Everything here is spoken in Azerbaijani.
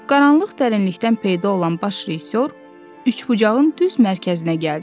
Qaranlıq dərinlikdən peyda olan baş rejissor üçbucağın düz mərkəzinə gəldi.